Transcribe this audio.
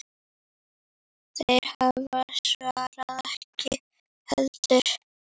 Þeir hafa svarið ekki heldur.